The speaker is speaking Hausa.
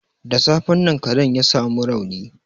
Da safen nan karen ya sa mu rauni.